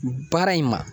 Baara in ma